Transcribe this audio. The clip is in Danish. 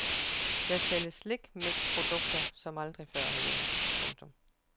Der sælges slikmixprodukter som aldrig før herhjemme. punktum